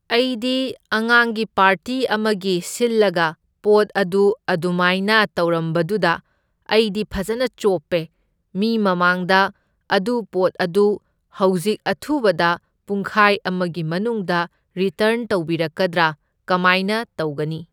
ꯑꯩꯗꯤ ꯑꯉꯥꯡꯒꯤ ꯄꯥꯔꯇꯤ ꯑꯃꯒꯤ ꯁꯤꯜꯂꯒ ꯄꯣꯠ ꯑꯗꯨ ꯑꯗꯨꯃꯥꯏꯅ ꯇꯧꯔꯝꯕꯗꯨꯗ ꯑꯩꯗꯤ ꯐꯖꯅ ꯆꯣꯞꯄꯦ, ꯃꯤ ꯃꯃꯥꯡꯗ ꯑꯗꯨ ꯄꯣꯠ ꯑꯗꯨ ꯍꯧꯖꯤꯛ ꯑꯊꯨꯕꯗ ꯄꯨꯡꯈꯥꯏ ꯑꯃꯒꯤ ꯃꯅꯨꯡꯗ ꯔꯤꯇꯔꯟ ꯇꯧꯕꯤꯔꯛꯀꯗ꯭ꯔꯥ ꯀꯃꯥꯏꯅ ꯇꯧꯒꯅꯤ?